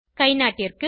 கைநாட்டிற்கு